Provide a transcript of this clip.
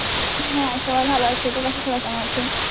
হ্যাঁ. সবাই ভালো আছি. তোর বাসার সবাই কেমন আছে?